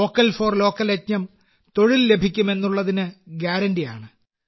vocal for local യജ്ഞം തൊഴിൽ ലഭിക്കും എന്നുള്ളതിന് ഗ്യാരന്റിയാണ്